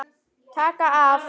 Taka af.